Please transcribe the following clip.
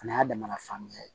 O y'a damana sanuya ye